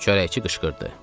Çörəkçi qışqırdı.